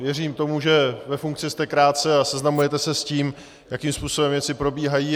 Věřím tomu, že ve funkci jste krátce a seznamujete se s tím, jakým způsobem věci probíhají.